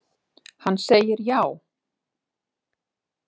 Hann segir já.